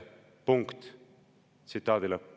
Punkt.